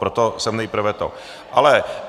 Proto jsem nejprve to...